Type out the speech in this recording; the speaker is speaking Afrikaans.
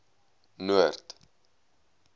noord